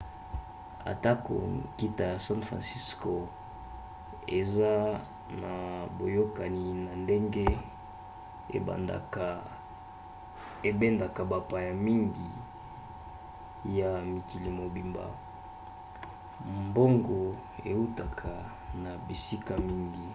atako nkita ya san franciso eza na boyokani na ndenge ebendaka bapaya mingi ya mokili mobimba mbongo eutaka na bisika mingi